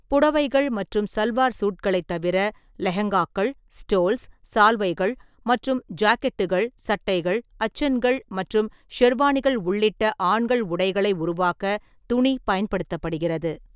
புடவைகள் மற்றும் சல்வார் சூட்களைத் தவிர, லெஹெங்காக்கள், ஸ்டோல்ஸ், சால்வைகள் மற்றும் ஜாக்கெட்டுகள், சட்டைகள், அச்சன்கள் மற்றும் ஷெர்வானிகள் உள்ளிட்ட ஆண்கள் உடைகளை உருவாக்க துணி பயன்படுத்தப்படுகிறது.